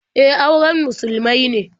E, auren musulmai ne.